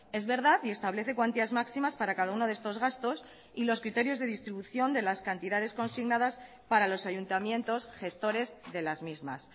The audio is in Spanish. es verdad y establece cuantías máximas para cada uno de estos gastos y los criterios de distribución de las cantidades consignadas para los ayuntamientos gestores de las mismas